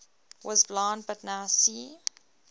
was blind but now see